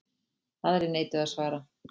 Aðrir neituðu að svara.